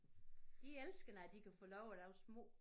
De elsker når de kan få lov at lave små